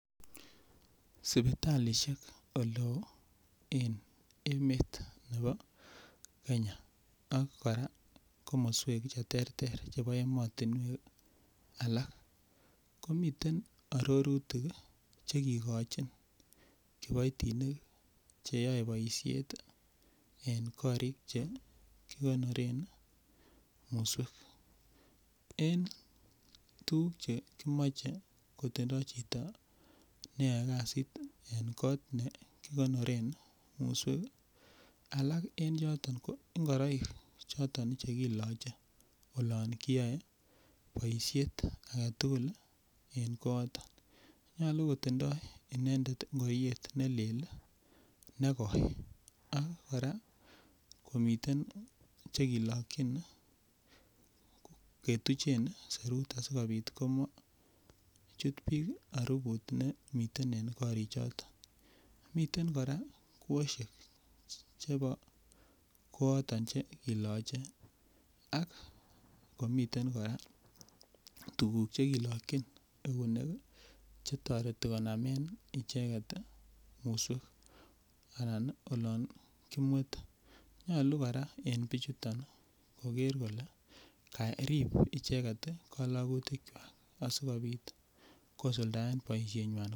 Sipitalishek ole oo en emet nebo kenya ak koraa komoswek che terter chebo emotinwek alak komiten ororutik Che kigochin kipoitinik chr yoe boishet en korik che kigonoren musweek en tuguk che kimoche kotindo chito me yoe kazit en kot ne kigonoren musweek alak en yoton ko ngoroik choton che kiloche olon kiyoe boishet agetugul en kooton nyoluu kotindo inendet ngoriet nelel ne goi ak koraa komiten che kilokyin ketuchen serut asikopit komochut biik aruput nemiten en korik choton. Miten koraa kwoshek chebo kooton che kiloche ak miten koraa tuguk che kilokyin eunek che toreti konamen icheget musweek anan ii olon kimwete . Nyoluu koraa en bichuton Koger kolee korib ichek kolokutikwak asikopit kosuldaen boishenywan